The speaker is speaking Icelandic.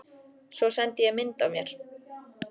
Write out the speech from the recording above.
Svo sendi ég mynd af mér.